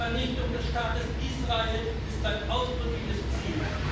Die Vernichtung des Staates Israel ist sein ausdrückliches Ziel.